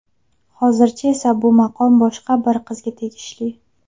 Hozircha esa bu maqom boshqa bir qizga tegishli.